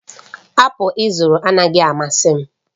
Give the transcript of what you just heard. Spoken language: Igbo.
apụl ị zụrụ anaghị amasị m